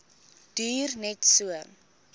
duur net so